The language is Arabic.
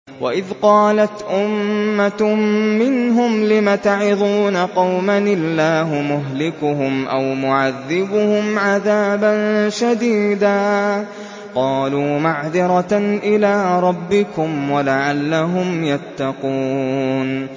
وَإِذْ قَالَتْ أُمَّةٌ مِّنْهُمْ لِمَ تَعِظُونَ قَوْمًا ۙ اللَّهُ مُهْلِكُهُمْ أَوْ مُعَذِّبُهُمْ عَذَابًا شَدِيدًا ۖ قَالُوا مَعْذِرَةً إِلَىٰ رَبِّكُمْ وَلَعَلَّهُمْ يَتَّقُونَ